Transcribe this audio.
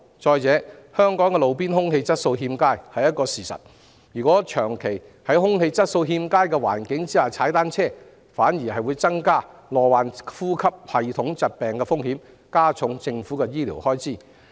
再者，香港的路邊空氣質素確實欠佳，長期在空氣質素欠佳的環境下騎單車反會增加罹患呼吸系統疾病的風險，間接加重政府的醫療開支。